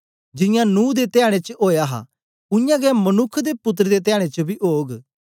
जियां नूह दे धयाडें च ओया हा उयांगै मनुक्ख दे पुत्तर दे धयाडें च बी ओग